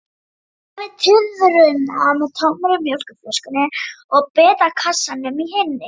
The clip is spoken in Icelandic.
Hafði tuðruna með tómri mjólkurflöskunni og bitakassanum í hinni.